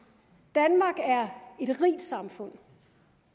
danmark er et rigt samfund